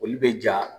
Olu bɛ ja